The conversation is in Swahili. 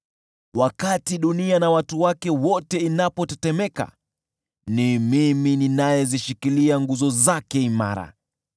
Wakati dunia na watu wake wote inapotetemeka, ni mimi ninayezishikilia nguzo zake imara.